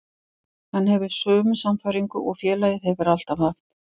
Hann hefur sömu sannfæringu og félagið hefur alltaf haft.